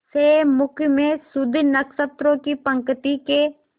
से मुख में शुद्ध नक्षत्रों की पंक्ति के